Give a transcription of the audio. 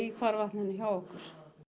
farvatninu hjá okkur